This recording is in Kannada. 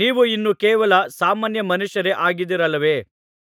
ನೀವು ಇನ್ನೂ ಕೇವಲ ಸಾಮಾನ್ಯ ಮನುಷ್ಯರೇ ಆಗಿದ್ದೀರಲ್ಲವೇ